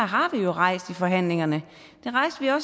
har vi jo rejst i forhandlingerne